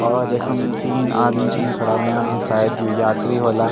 और यखम तीन आदमी छन खड़ा हुयां सायद यु यात्री ह्वला।